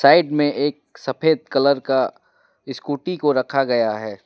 Side में एक सफेद कलर का स्कूटी को रखा गया है।